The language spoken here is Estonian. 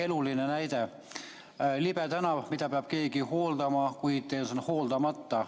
Eluline näide: libe tänav, mida peab keegi hooldama, kuid see on hooldamata.